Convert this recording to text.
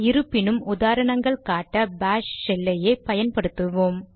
இருப்பினும் உதாரணங்கள் காட்ட பாஷ் ஷெல்லையே பயன்படுத்துவோம்